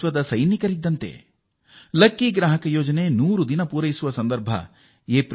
ಈ ಯೋಜನೆ ತನ್ನ 100ನೇ ದಿನವನ್ನು ಏಪ್ರಿಲ್ 14ರಂದು ಪೂರ್ಣಗೊಳಿಸುತ್ತದೆ ಎಂಬುದನ್ನು ನೀವೆಲ್ಲರೂ ಬಲ್ಲವರಾಗಿದ್ದೀರಿ